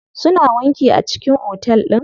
Suna wanki a cikin otel din.